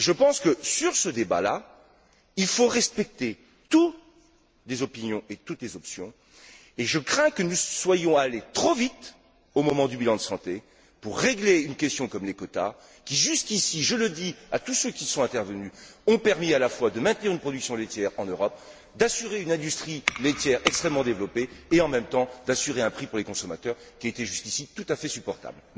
Je pense que sur ce débat là, il faut respecter toutes les opinions et toutes les options, et je crains que nous soyons allés trop vite au moment du bilan de santé pour régler une question comme les quotas, qui jusqu'ici, je le dis à tous ceux qui sont intervenus, ont permis à la fois de maintenir une production laitière en Europe, d'assurer une industrie laitière extrêmement développée et, en même temps, de préserver un prix pour les consommateurs, qui était jusqu'ici tout à fait supportable.